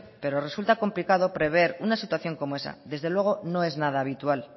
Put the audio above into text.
pero resulta complicado prever una situación como esa desde luego no es nada habitual